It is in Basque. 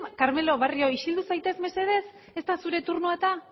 carmelo barrio isildu zaitez mesedez ez da zure turnoa eta